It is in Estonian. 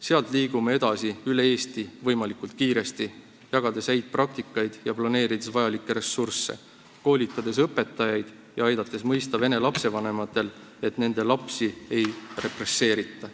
Sealt liigume edasi võimalikult kiiresti üle Eesti, jagades häid praktikaid ja planeerides ressursse, koolitades õpetajaid ja aidates vene lapsevanematel mõista, et nende lapsi ei represseerita.